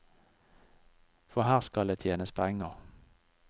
For her skal det tjenes penger.